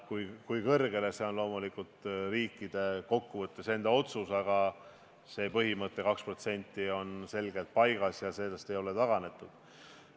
Kui palju nad seda teevad, on loomulikult riikide enda otsustada, aga see 2% põhimõte on selgelt paigas ja sellest ei ole taganetud.